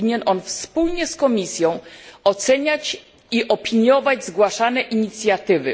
Powinien on wspólnie z Komisją oceniać i opiniować zgłaszane inicjatywy.